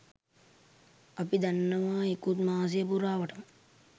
අපි දන්නවා ඉකුත් මාසය පුරාවටම